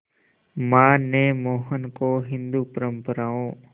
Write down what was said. मां ने मोहन को हिंदू परंपराओं